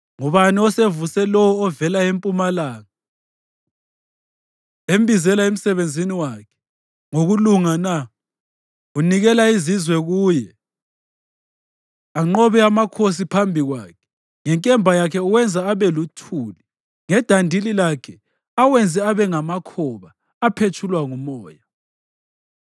Ngubani osevuse lowo ovela empumalanga, embizela emsebenzini wakhe ngokulunga na? Unikela izizwe kuye, anqobe amakhosi phambi kwakhe. Ngenkemba yakhe uwenza abe luthuli, ngedandili lakhe awenze abe ngamakhoba aphetshulwa ngumoya.